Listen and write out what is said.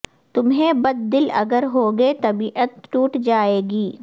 تمہیں بد دل اگر ہوگے طبیعت ٹوٹ جائے گی